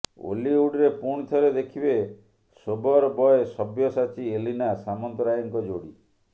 ଓଲିଉଡରେ ପୁଣିଥରେ ଦେଖିବେ sober boy Sabyasachi Elina ସାମନ୍ତରାୟଙ୍କ ଯୋଡ଼ି